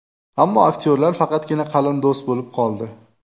Ammo aktyorlar faqatgina qalin do‘st bo‘lib qoldi.